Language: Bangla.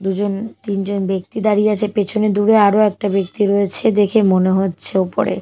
দুজন তিনজন ব্যক্তি দাঁড়িয়ে আছে পেছনে দূরে আরো একটা ব্যক্তি দাঁড়িয়ে রয়েছে দেখে মনে হচ্ছে ওপরে।